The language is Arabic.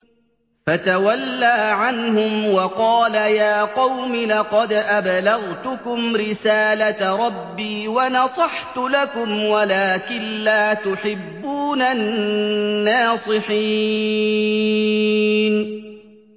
فَتَوَلَّىٰ عَنْهُمْ وَقَالَ يَا قَوْمِ لَقَدْ أَبْلَغْتُكُمْ رِسَالَةَ رَبِّي وَنَصَحْتُ لَكُمْ وَلَٰكِن لَّا تُحِبُّونَ النَّاصِحِينَ